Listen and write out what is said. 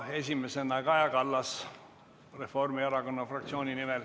Esimesena Kaja Kallas Reformierakonna fraktsiooni nimel.